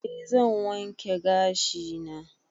E zan wanke gashi na